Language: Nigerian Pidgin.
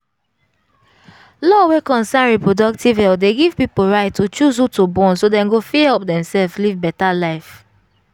law wey concern reproductive health dey give people right to choose who to born so dem go fit help demself live better life